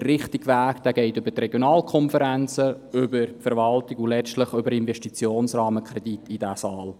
Der richtige Weg führt über die Regionalkonferenzen, über die Verwaltung und letztlich über den Investitionsrahmenkredit in diesen Saal.